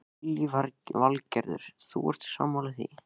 Lillý Valgerður: Þú ert sammála því?